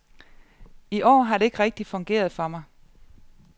I år har det ikke rigtig fungeret for mig.